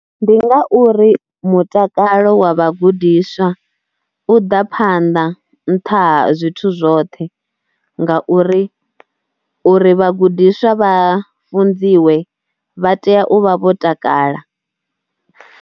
Ndi ngauri mutakalo wa vhagudiswa u ḓa phanḓa nṱha zwithu zwoṱhe ngauri uri vhagudiswa vha funziwe vha tea u vha vho takala.